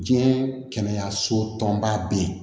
Diɲɛ kɛnɛyaso tɔnba be yen